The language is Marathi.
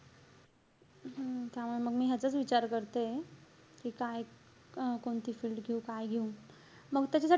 हम्म त्यामुळे मग मी ह्याचाच विचार करतेय. कि काय अं कोणती field घेऊ, काय घेऊ. मंग त्याच्यासाठी,